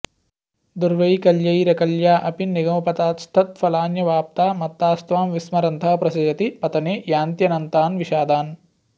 दुर्वैकल्यैरकल्या अपि निगमपथास्तत्फलान्यप्यवाप्ता मत्तास्त्वां विस्मरन्तः प्रसजति पतने यान्त्यनन्तान्विषादान्